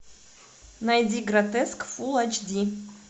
найди гротеск фул айч ди